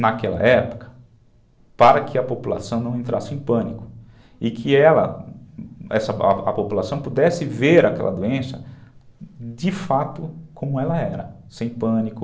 naquela época, para que a população não entrasse em pânico e que ela, essa, a população, pudesse ver aquela doença de fato como ela era, sem pânico.